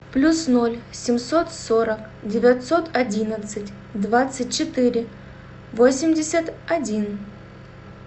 плюс ноль семьсот сорок девятьсот одиннадцать двадцать четыре восемьдесят один